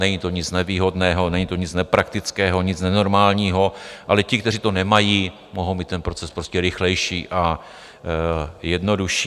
Není to nic nevýhodného, není to nic nepraktického, nic nenormálního, ale ti, kteří to nemají, mohou mít ten proces prostě rychlejší a jednodušší.